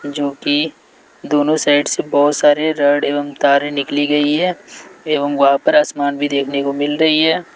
जोकि दोनो साइड से बहोत सारे रॉड एवम् तारे निकली गई है एवम् वहां पर आसमान भी देखने को मिल रही है।